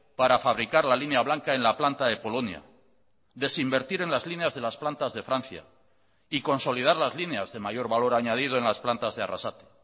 para fabricar la línea blanca en la planta de polonia desinvertir en las líneas de las plantas de francia y consolidar las líneas de mayor valor añadido en las plantas de arrasate